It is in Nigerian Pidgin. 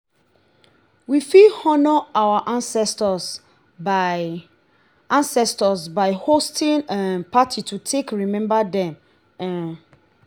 we fit honour our ancestor by ancestor by hosting um party to take remember them um